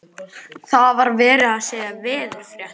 Það var verið að segja veðurfréttir.